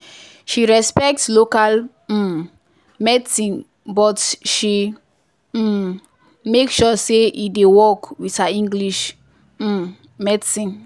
she respect local um medicine but she um make sure say e dey work with her english um medicine.